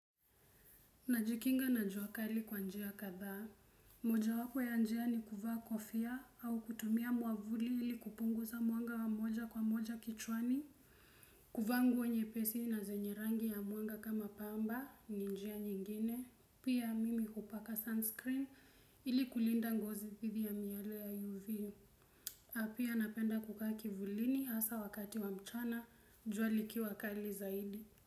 Najikinga na jua kali kwa njia kadhaa. Moja wapo ya njia ni kuvaa kofia au kutumia mwavuli ili kupunguza mwanga wa moja kwa moja kichwani. Kuvaa nguo nyepesi na zenye rangi ya mwanga kama pamba ni njia nyingine. Pia mimi hupaka sunscreen ili kulinda ngozi didhi ya miale ya UV. Pia napenda kukaa kivulini hasa wakati wa mchana jua likiwa kali zaidi.